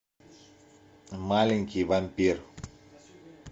маленький вампир